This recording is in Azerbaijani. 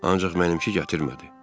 Ancaq mənimki gətirmədi.